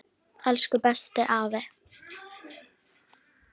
Elsku bestu afi.